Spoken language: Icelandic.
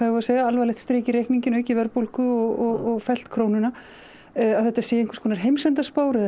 við að segja alvarlegt strik í reikninginn aukið verðbólgu og fellt krónuna að þetta sé einhvers konar heimsendaspár eða